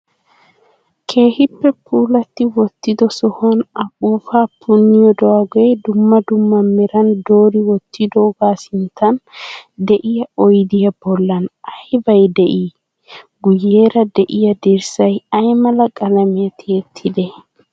Keehippe puulati wottido sohuwan afuufaa punnidoogee dumma dumma meran doori wottidogaa sinttan de"iya oydiyaa bollan aybay de"ii? Guyyeera de"iyaa dirssay aymala qalamiya tiyettidee?